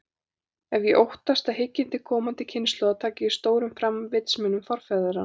Og ég óttast, að hyggindi komandi kynslóða taki ekki stórum fram vitsmunum forfeðranna.